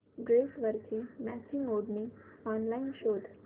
ड्रेसवरची मॅचिंग ओढणी ऑनलाइन शोध